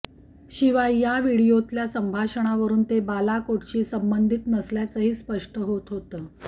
शिवाय या व्हीडिओतल्या संभाषणावरून ते बालाकोटशी संबंधित नसल्याचंही स्पष्ट होत होतं